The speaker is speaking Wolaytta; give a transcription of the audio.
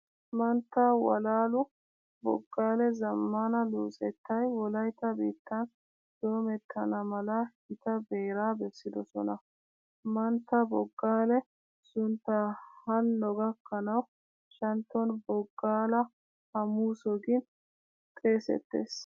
Mantta Walalu Boggaalee zammaana luxettay wolaytta biittan doomettana mala gita beeraa bessidosona. Mantta Boggaale suntta hanno gakkanawu shantton Boggaala hamuuso gin xeesettees.